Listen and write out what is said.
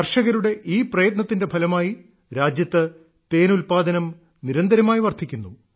കർഷകരുടെ ഈ പ്രയത്നത്തിന്റെ ഫലമായി രാജ്യത്ത് തേൻ ഉല്പാദനം നിരന്തരമായി വർദ്ധിക്കുന്നു